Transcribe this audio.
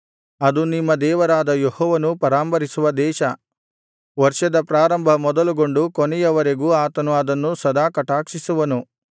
ಅದು ನಿಮ್ಮ ದೇವರಾದ ಯೆಹೋವನು ಪರಾಂಬರಿಸುವ ದೇಶ ವರ್ಷದ ಪ್ರಾರಂಭ ಮೊದಲುಗೊಂಡು ಕೊನೆಯ ವರೆಗೂ ಆತನು ಅದನ್ನು ಸದಾ ಕಟಾಕ್ಷಿಸುವನು